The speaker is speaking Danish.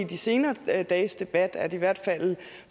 de senere dages debat at i hvert fald